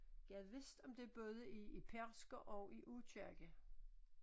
Gad vist om det både i i Pedersker og i Aakirke